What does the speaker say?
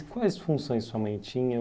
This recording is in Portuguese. E quais funções sua mãe tinha?